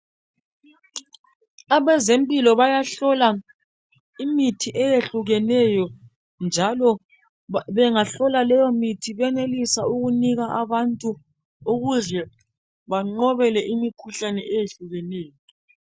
Abezempilo bayahlola imithi eyehlukeneyo njalo bengahlola leyo mithi benelise ukunika abantu ukuze banqobele imikhuhlane ehlukeneyo.